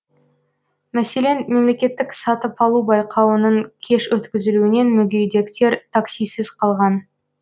мәселен мемлекеттік сатып алу байқауының кеш өткізілуінен мүгедектер таксисіз қалған